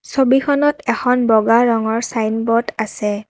ছবিখনত এখন বগা ৰঙৰ চাইনব'ৰ্ড আছে।